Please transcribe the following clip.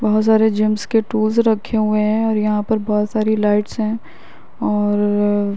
बहुत सारे जिम्स के टूल्स रखे हुए हैं और यहाँ पर बोहत सारी लाइट्स हैं और --